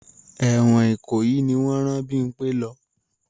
Ẹ̀wọ̀n Ìkòyí ni wọ́n rán Bímpẹ́ lọ.